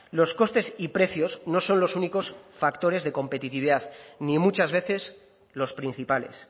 los costes y precios no son los únicos factores de competitividad ni muchas veces los principales